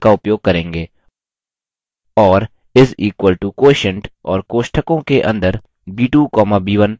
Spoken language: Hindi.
और is equal to quotient और कोष्टकों के अंदर b2 comma b1 type करें